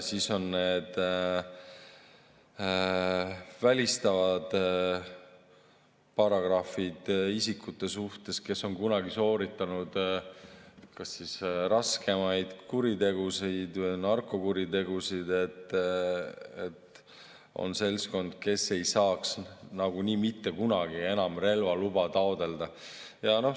Siis on seal välistavad paragrahvid isikute suhtes, kes on kunagi sooritanud kas raskemaid kuritegusid või narkokuritegusid, see on seltskond, kes ei saaks nagunii mitte kunagi enam relvaluba taotleda.